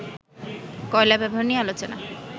কয়লা ব্যবহার নিয়ে আলোচনা